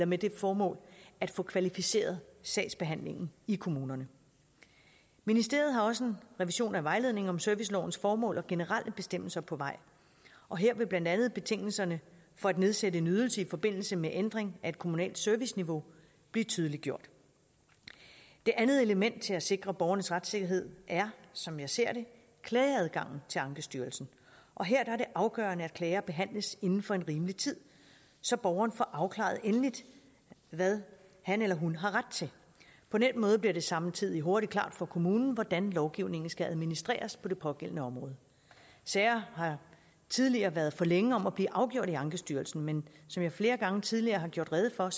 med det formål at få kvalificeret sagsbehandlingen i kommunerne ministeriet har også en revision af vejledningen om servicelovens formål og generelle bestemmelser på vej og her vil blandt andet betingelserne for at nedsætte en ydelse i forbindelse med ændring af et kommunalt serviceniveau blive tydeliggjort det andet element til at sikre borgernes retssikkerhed er som jeg ser det klageadgangen til ankestyrelsen og her er det afgørende at klager behandles inden for en rimelig tid så borgeren får afklaret endeligt hvad han eller hun har ret til på den måde bliver det samtidig hurtigt klart for kommunen hvordan lovgivningen skal administreres på det pågældende område sager har tidligere været for længe om at blive afgjort i ankestyrelsen men som jeg flere gange tidligere har gjort rede for